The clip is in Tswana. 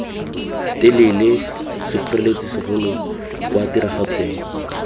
telele sekgoreletsi segolo kwa tiragatsong